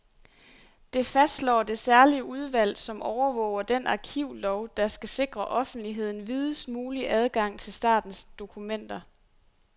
Det fastslår det særlige udvalg, som overvåger den arkivlov, der skal sikre offentligheden videst mulig adgang til statens dokumenter.